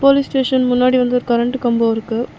Police station முன்னாடி வந்து ஒரு கரண்ட்டு கம்போ இருக்கு.